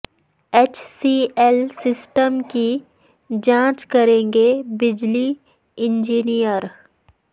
H C L system کی جانچ کریںگے بجلی انجینئر